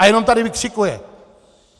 A jenom tady vykřikuje?